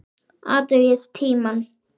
Athugið tímann.